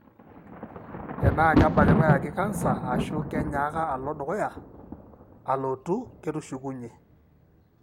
tenaa kebakitae ake canser ashu kenyaaka alo dukuya,(alotu ketushukunyie).